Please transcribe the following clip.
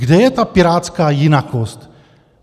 Kde je ta pirátská jinakost?